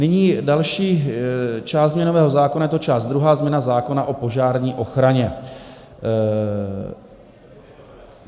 Nyní další část změnového zákona, je to část druhá, změna zákona o požární ochraně.